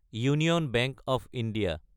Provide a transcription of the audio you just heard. union bank of India